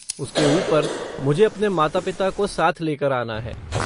उसके ऊपर, मुझे अपने माता पिता को साथ लेकर आना है।